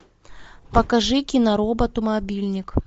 покажи киноработу мобильник